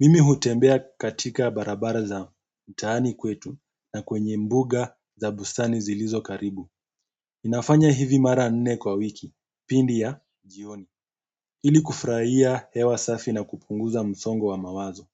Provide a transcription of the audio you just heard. Mimi hutembea katika barabara za mtaani kwetu na kwenye mbuga za bustani zilizo karibu. Nafanya hivi mara nne kwa wiki, pindi ya jioni. Ili kufurahia hewa safi na kupunguza msongo wa mawazo.